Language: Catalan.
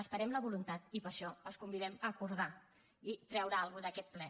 esperem la voluntat i per això els convidem a acordar i treure alguna cosa d’aquest ple